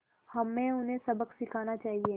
हमें उन्हें सबक सिखाना चाहिए